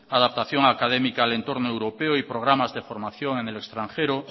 adaptación académica al entorno europeo y programas de formación en el extranjero